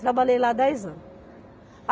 Trabalhei lá dez anos.